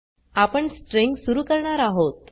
आपण स्ट्रिंग सुरू करणार आहोत